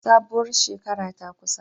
Sabuwar shekara ta kusa